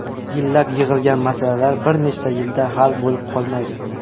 Yillab yig‘ilgan masalalar bir necha yilda hal bo‘lib qolmaydi.